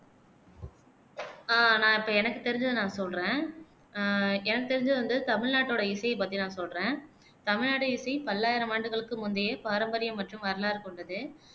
அஹ் நான் இப்ப எனக்கு தெரிஞ்சதை நான் சொல்றேன் அஹ் எனக்கு தெரிஞ்சது வந்து தமிழ்நாட்டோட இசையை பத்தி நான் சொல்றேன் தமிழ்நாடு இசை பல்லாயிரம் ஆண்டுகளுக்கு முந்தைய பாரம்பரிய மற்றும் வரலாறு கொண்டது